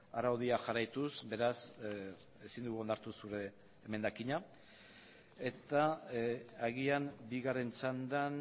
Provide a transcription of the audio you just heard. araudia jarraituz beraz ezin dugu onartu zure emendakina eta agian bigarren txandan